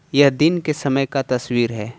यह दिन के समय का तस्वीर है।